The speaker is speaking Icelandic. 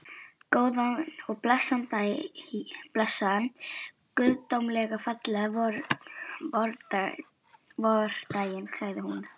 Góðan og blessaðan, guðdómlega fallegan vordaginn, sagði hún.